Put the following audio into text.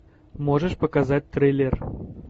можешь показать триллер